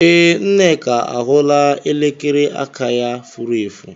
Ee, Nneka ahụlaa elekere aka ya furu efu.